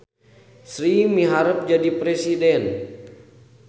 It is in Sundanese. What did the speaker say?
Sri miharep jadi presiden